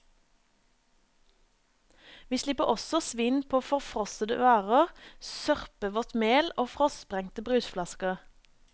Vi slipper også svinn på forfrossede varer, sørpevått mel og frostsprengte brusflasker.